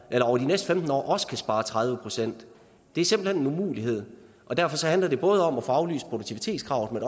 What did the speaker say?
over de næste femten år også kan spare tredive procent det er simpelt hen en umulighed og derfor handler det om at få aflyst produktivitetskravet